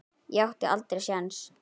Ég átti aldrei séns.